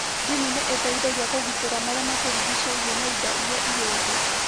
Ndini nĩ ĩteithagia kũgitĩra marĩa matũrigicĩirie na indo iria irĩ thĩ.